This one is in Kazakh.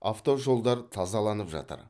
автожолдар тазаланып жатыр